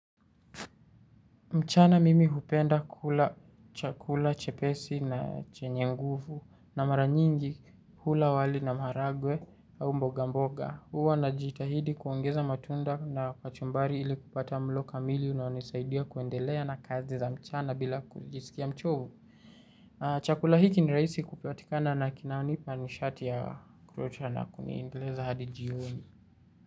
Mchana mimi hupenda kula chakula, chepesi na chenye nguvu na mara nyingi hula wali na maragwe au mboga mboga. Uwa na jitahidi kuongeza matunda na kachumbari ili kupata mlo kamili unaonisaidia kuendelea na kazi za mchana bila kujisikia mchovu. Chakula hiki niraisi kupatikana na kinanipa nishati ya kurochana kuni endeleza hadi jioni.